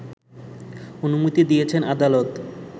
অনুমতি দিয়েছেন আদালত